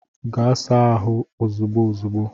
Gaa saa ahụ ozigbo ozigbo